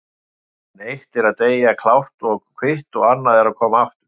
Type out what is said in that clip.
En eitt er að deyja klárt og kvitt og annað að koma aftur.